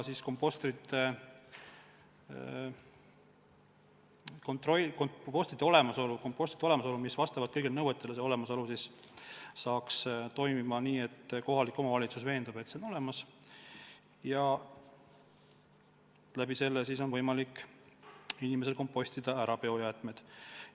Mis puutub kõikidele nõuetele vastavatesse kompostritesse, siis see kord saaks toimima nii, et kohalik omavalitsus veendub, et komposter on olemas, ja nii on võimalik inimesel oma biojäätmed ära kompostida.